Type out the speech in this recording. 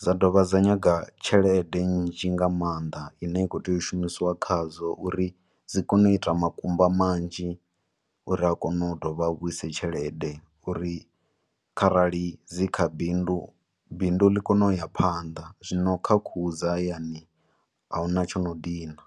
Dza dovha dza nyaga tshelede nzhi nga maanḓa ine ya khou tea u shumisiwa khadzo uri dzi kone u ita makumba manzhi uri a kone u dovha a vhuyise tshelede, uri kharali dzi kha bindu, bindu li kone u isa phanḓa. Zwino kha khuhu dza hayani, ahuna tshi no dina.